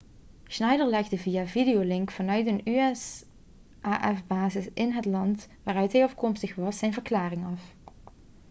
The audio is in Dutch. schneider legde via videolink vanuit een usaf-basis in het land waaruit hij afkomstig was zijn verklaring af